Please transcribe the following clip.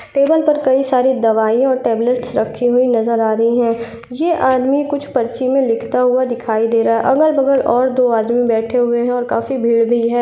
Table पर कई सारी दवाई और टैबलेट्स रखी हुए नजर आ रही हैं। ये आदमी कुछ पर्ची में लिखता हुआ दिखाई दे रहा है अगल- बगल और दो आदमी बैठे हुए हैं और काफी भीड़ भी है।